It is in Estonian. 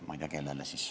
Ma ei tea, kellele.